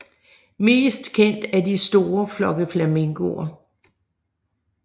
Mest kendt er de store flokke flamingoer